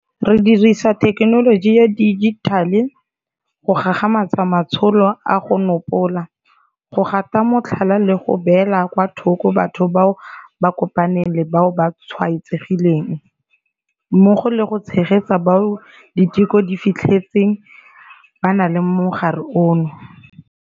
Re dirisa thekenoloji ya dijithale go gagamatsa matsholo a go nopola, go gata motlhala le go beela kwa thoko batho bao ba kopaneng le bao ba tshwaetsegileng, mmogo le go tshegetsa bao diteko di fitlhetseng ba na le mogare ono.